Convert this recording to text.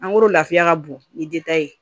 Mangoro lafiya ka bon ni de ye